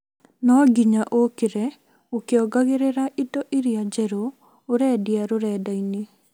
No nginya ũkire ũkĩongagĩrĩra indo iria njeru ũrendia rũrenda-inĩ